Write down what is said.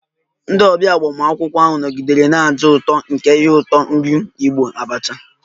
Ndị ọbịa agbamakwụkwọ ahụ nọgidere na-aja ụtọ ụtọ nke ihe ụtọ nri Igbo 'abacha'